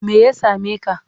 Me ya same ka?